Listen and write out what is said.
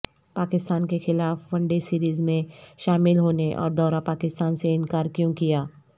پاکستان کیخلاف one day series میں شامل ہونے اور دورہ پاکستان سے انکار کیوں کیا